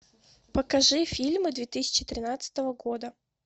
покажи фильмы две тысячи тринадцатого года